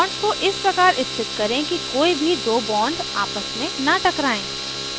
bonds को इस प्रकार स्थित करें कि कोई भी दो bonds आपस में न टकराएं